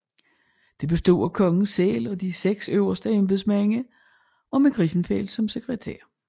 Det bestod af kongen selv og de seks øverste embedsmænd og med Griffenfeld som sekretær